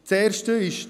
Das Erste ist: